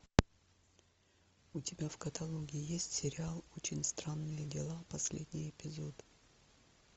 у тебя в каталоге есть сериал очень странные дела последний эпизод